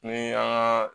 Ni an ka